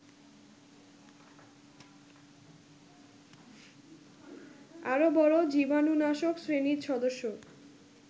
আরও বড় জীবাণুনাশক শ্রেণীর সদস্য